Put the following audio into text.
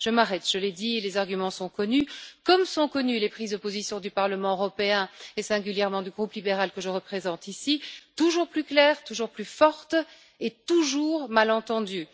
Je m'arrête, je l'ai dit et les arguments sont connus, comme sont connues les prises de position du Parlement européen et, singulièrement, du groupe libéral que je représente ici, toujours plus claires, toujours plus fortes et toujours mal entendues.